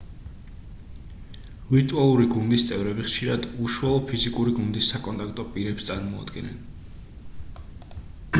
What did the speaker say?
ვირტუალური გუნდის წევრები ხშირად უშუალო ფიზიკური გუნდის საკონტაქტო პირებს წარმოადგენენ